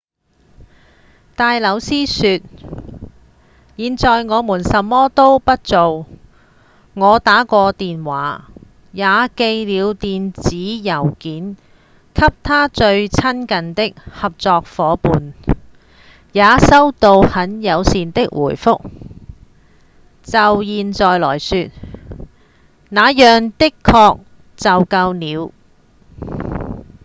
戴紐斯說：「現在我們什麼都不做我打過電話、也寄了電子郵件給他最親近的合作夥伴也收到很友善的回覆就現在來說那樣的確就夠了」